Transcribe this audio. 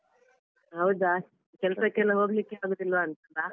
ಹೌದಾ ಕೆಲ್ಸಕ್ಕೆಲ್ಲ ಹೋಗ್ಲಿಕ್ಕೆ ಆಗುದಿಲ್ವಾಂತಲ್ಲ.